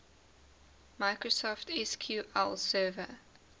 microsoft sql server